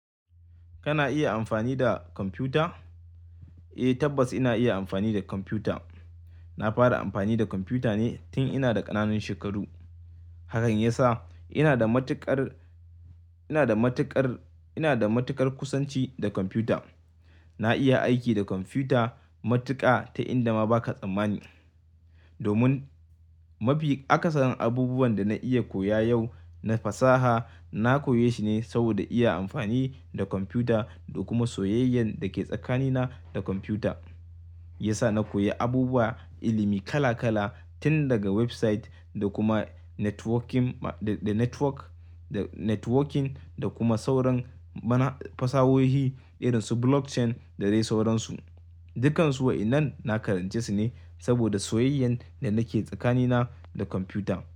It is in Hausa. Kana iya amfani da kwamfuta? Eh, tabbas ina iya amfani da kwamfuta. Na fara amfani da kwamfuta ne tun ina da ƙananun shekaru. Hakan ya sa ina da matuƙar, ina da matuƙar, ina da matuƙar kusanci da kwamfuta. Na iya aiki da kwamfuta matuƙa ta inda ma ba ka tsammani. Domin, mafi akasarin abubuwan da na iya koya yau na fasaha, na koya shi ne saboda iya amfani da kwamfuta da kuma soyayyan da ke tsakanina da kwamfuta. Ya sa na koyi abubuwa, ilimi kala kala tun daga website da kuma networking ma-- da network, da networking da kuma sauran bana fasahohi irin su blockchain da dai sauransu. Dukansu wa'inan na karance su ne saboda soyayyan da nake tsakanina da kwamfuta.